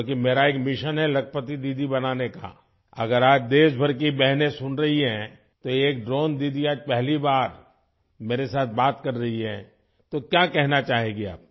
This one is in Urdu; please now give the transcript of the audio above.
کیونکہ میرا یک مشن ہے لکھپتی دیدی بنانے کا ، اگر آج ملک بھر کی بہنیں سن رہی ہیں، تو ایک ڈرون دیدی آج پہلی بار میرے ساتھ بات کر رہی ہے ، تو کیا کہنا چاہیں گےآپ ؟